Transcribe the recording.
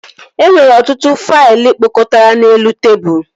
E nwere ọtụtụ faịlụ kpọkọtara n'elu tebụl